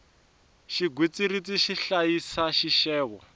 xigwitsirisi xi hlayisa xixevo